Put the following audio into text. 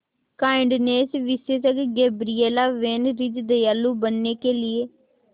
kindness विशेषज्ञ Gabriela van Rij दयालु बनने के लिए